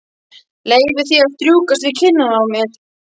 Leyfi því að strjúkast við kinnina á mér.